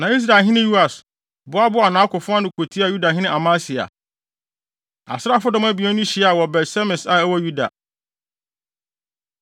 Na Israelhene Yoas, boaboaa nʼakofo ano kotiaa Yudahene Amasia. Asraafodɔm abien no hyiaa wɔ Bet-Semes a ɛwɔ Yuda.